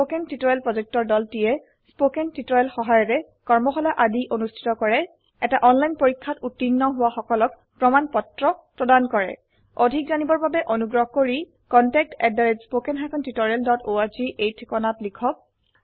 spoken tutorial প্ৰকল্পৰ দলটিয়ে spoken tutorial সহায়িকাৰে কৰ্মশালা আদি অনুষ্ঠিত কৰে এটা অনলাইন পৰীক্ষাত উত্তীৰ্ণ হোৱা সকলক প্ৰমাণ পত্ৰ প্ৰদান কৰে অধিক জানিবৰ বাবে অনুগ্ৰহ কৰি contactspoken tutorialorg এই ঠিকনাত লিখক